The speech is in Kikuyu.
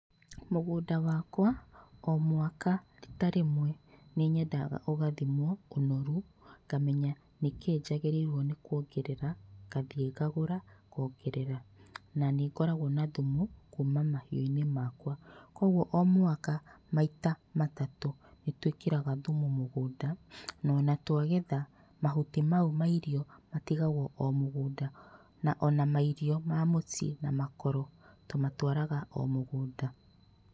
Mũgũnda wakwa o mwaka rita rĩmwe nĩnyendaga ũgathimwo ũnoru, ngamenya nĩkĩĩ njagĩrĩirwo nĩ kuongerera ngathiĩ ngagũra ngongerera, na nĩngoragwo na thumu kuma mahiũinĩ makwa. Koguo o mwaka maita matatũ nĩtwĩkĩraga thumu mũgũnda na ona twagetha mahuti mau ma irio matigagwo o mũgũnda, ona mairio ma mũciĩ na makoro tũmatwaraga o mũgũnda.